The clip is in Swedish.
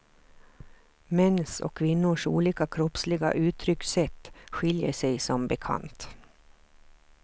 Mäns och kvinnors olika kroppsliga uttryckssätt skiljer sig som bekant.